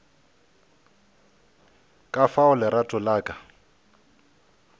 ka fao lerato la ka